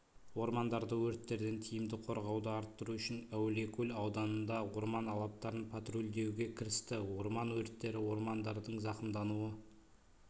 ормандарды өрттерден тиімді қорғауды арттыру үшін әулиекөл ауданында орман алаптарын патрульдеуге кірісті орман өрттері ормандардың зақымдануы